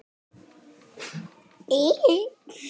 Já, þetta er magnað.